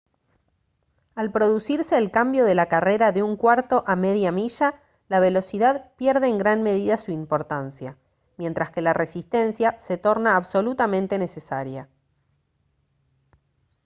al producirse el cambio de la carrera de un cuarto a media milla la velocidad pierde en gran medida su importancia mientras que la resistencia se torna absolutamente necesaria